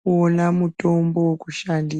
kuona mutombo wekushandi.